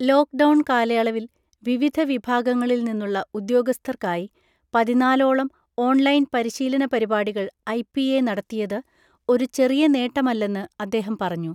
Lockdown കാലയളവിൽ വിവിധ വിഭാഗങ്ങളില് നിന്നുള്ള ഉദ്യോഗസ്ഥർക്കായി പതിനാലോളം ഓൺലൈൻ പരിശീലന പരിപാടികൾ ഐപിഎ നടത്തിയത് ഒരു ചെറിയ നേട്ടമല്ലെന്ന് അദ്ദേഹം പറഞ്ഞു.